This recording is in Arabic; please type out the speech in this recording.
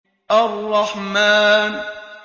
الرَّحْمَٰنُ